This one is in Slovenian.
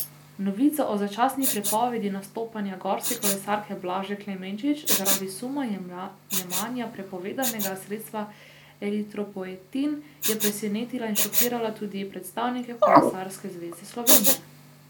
Novica o začasni prepovedi nastopanja gorske kolesarke Blaže Klemenčič zaradi suma jemanja prepovedanega sredstva eritropoetin je presenetila in šokirala tudi predstavnike Kolesarske zveze Slovenije.